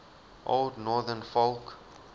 old northern folk